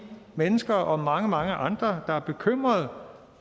mennesker og mange mange andre der er bekymrede